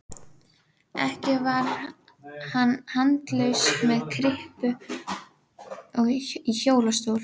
Ekki var hann handalaus með kryppu í hjólastól.